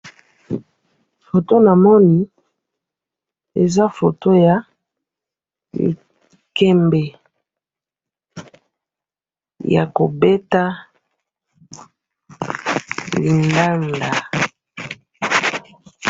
photo na moni, eza photo ya likembe yako beta lindanda